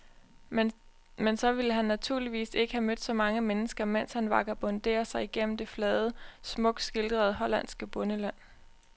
Men så ville han naturligvis ikke have mødt så mange mennesker, mens han vagabonderer sig gennem det flade, smukt skildrede hollandske bondeland.